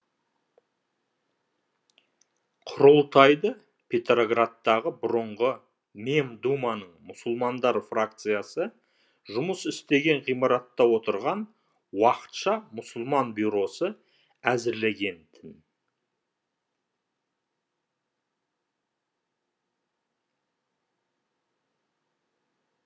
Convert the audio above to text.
құрылтайды петроградтағы бұрынғы мемдуманың мұсылмандар фракциясы жұмыс істеген ғимаратта отырған уақытша мұсылман бюросы әзірлеген тін